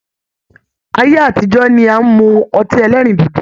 Ayé àtijọ́ ni à ń mu ọtí ẹlẹ́rìndòdò